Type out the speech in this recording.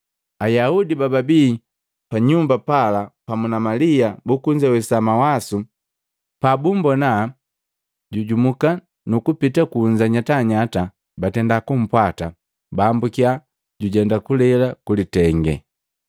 Ayaudi bababi panyumba pala pamu na Malia bukuzewesa mawasu, pabumbona jujumuka nukupita kunza nyatanyata, batenda kunpwata. Baambusiya jujenda kulele kulitenge.